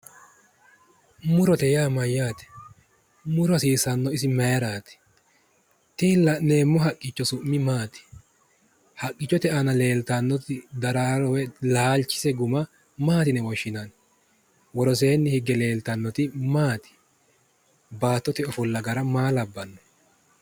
Murote yaa mayyaate? Muro hasiissannohu isi mayiiraati? Tini la'neemmo haqqicho su'mi maati? Haqqichote aana leeltannoti daraaro woy laalchise guma maati yine woshshinanni? Woroseenni higge leeltannoti maati? Baattote ofolla gara maa labbanno?